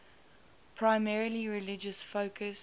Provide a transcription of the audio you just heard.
primarily religious focus